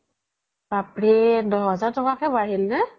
বাপ ৰে দহ হেজাৰ তকাকে বাঢ়িল নে